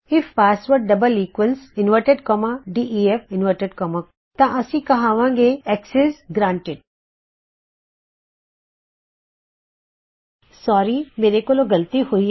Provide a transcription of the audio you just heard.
if password double equals def IF passwordਡੇਫ ਤਾਂ ਅਸੀ ਕਹਵਾਂਗੇ ਕੀ ਅਕਸੈਸ ਗਰਾਨਟੀਡ ਮਾਫ ਕਰੋ ਮੇਰੇ ਤੋਂ ਇੱਕ ਗਲਤੀ ਹੋਈ ਹੈ